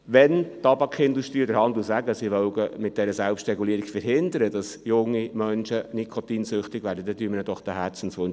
Wenn die Tabakindustrie mit der Selbstregulierung verhindern will, dass junge Menschen nikotinsüchtig werden, erfüllen wir ihnen diesen Herzenswunsch.